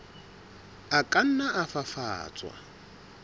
a ka nna a fafatswa